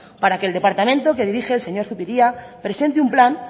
para que el departamento que dirige el señor zupiria presente un plan